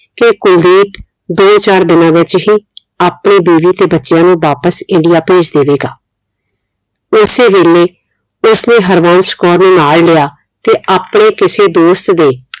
ਕਿ ਕੁਲਦੀਪ ਦੋ ਚਾਰ ਦੀਨਾ ਵਿਚ ਹੀ ਆਪਣੇ ਬੀਵੀ ਤੇ ਬੱਚਿਆਂ ਨੂੰ ਵਾਪਿਸ India ਭੇਜ ਦੇਵੇਗਾ। ਉਸੇ ਵੇਲੇ ਉਸਨੇ ਹਰਵੰਸ਼ ਕੌਰ ਨੂੰ ਨਾਲ ਲਿਆ ਤੇ ਆਪਣੇ ਕਿਸੇ ਦੋਸਤ ਦੇ